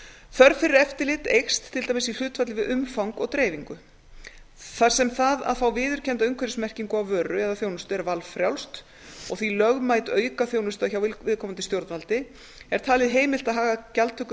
þörf fyrir eftirlit eykst til dæmis í hlutfalli við umfang og dreifingu þar sem það að fá viðurkennda umhverfismerkingu á vöru eða þjónustu er valfrjálst og því lögmæt aukaþjónusta hjá viðkomandi stjórnvaldi er talið heimilt að haga gjaldtöku